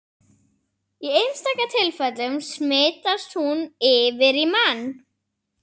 Ráðuneytið taki málið upp á ný